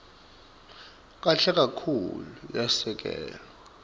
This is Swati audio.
kahle kakhulu yasekelwa